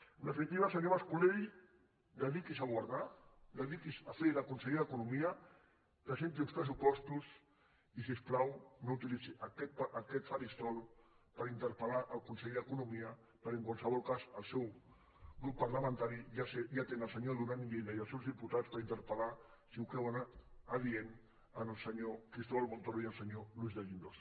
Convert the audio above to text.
en definitiva senyor mas colell dediqui’s a governar dediqui’s a fer de conseller d’economia presenti uns pressupostos i si us plau no utilitzi aquest faristol per interpel·lar el ministre d’economia perquè en qualsevol cas el seu grup parlamentari ja té el senyor duran i lleida i els seus diputats per interpeladient el senyor cristóbal montoro i el senyor luis de guindos